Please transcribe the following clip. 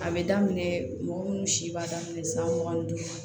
A bɛ daminɛ mɔgɔ minnu si b'a daminɛ san mugan ni duuru